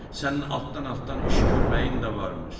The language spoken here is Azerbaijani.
Sənin altdan-altdan iş görməyin də varmış.